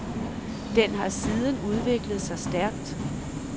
Den har siden udviklet sig stærkt.